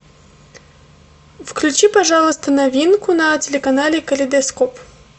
включи пожалуйста новинку на телеканале калейдоскоп